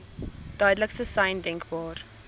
duidelikste sein denkbaar